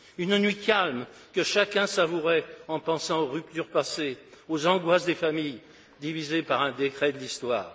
Une nuit calme que chacun savourait en pensant aux ruptures passées, aux angoisses des familles divisées par un décret de l'histoire.